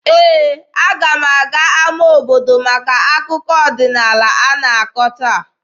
Ee, aga m aga n'ama obodo maka akụkọ ọdịnaala a na-akọ taa.